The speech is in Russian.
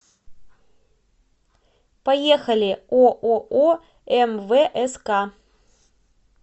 поехали ооо мвск